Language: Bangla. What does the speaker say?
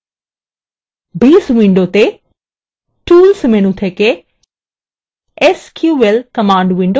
base window tools menu থেকে sql command window খুলুন